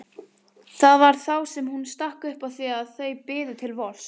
Það var þá sem hún stakk upp á því að þau biðu til vors.